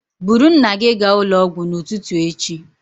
Buru nna gị gaa ụlọ ọgwụ n'ụtụtụ echi